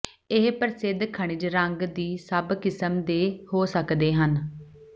ਇਹ ਪ੍ਰਸਿੱਧ ਖਣਿਜ ਰੰਗ ਦੀ ਸਭ ਕਿਸਮ ਦੇ ਹੋ ਸਕਦੇ ਹਨ